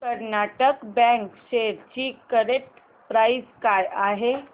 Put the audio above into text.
Karnataka bank shares ची current price काय आहे